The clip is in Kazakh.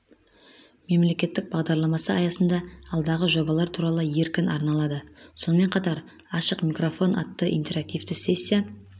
мемлекеттік бағдарламасы аясында алдағы жобалар туралы еркін арналады сонымен қатар ашық микрофон атты интерактивті сессия